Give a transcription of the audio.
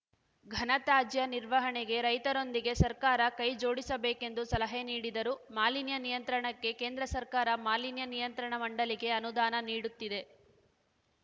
ಘನತ್ಯಾಜ್ಯ ನಿರ್ವಹಣೆಗೆ ರೈತರೊಂದಿಗೆ ಸರ್ಕಾರ ಕೈ ಜೋಡಿಸಬೇಕೆಂದು ಸಲಹೆ ನೀಡಿದರು ಮಾಲಿನ್ಯ ನಿಯಂತ್ರಣಕ್ಕೆ ಕೇಂದ್ರ ಸರ್ಕಾರ ಮಾಲಿನ್ಯ ನಿಯಂತ್ರಣ ಮಂಡಳಿಗೆ ಅನುದಾನ ನೀಡುತ್ತಿದೆ